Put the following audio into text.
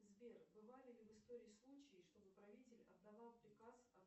сбер бывали ли в истории случаи чтобы правитель отдавал приказ о